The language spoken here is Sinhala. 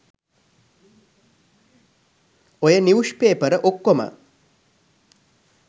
ඔය නිවුෂ්පේපර ඔක්කොම